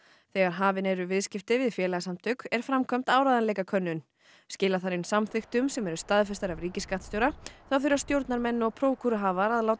þegar hafin eru viðskipti við félagasamtök er framkvæmd áreiðanleikakönnun skila þarf inn samþykktum sem eru staðfestar af ríkisskattstjóra þá þurfa stjórnarmenn og prókúruhafar að láta